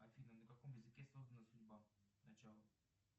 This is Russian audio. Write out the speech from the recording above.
афина на каком языке создана судьба начало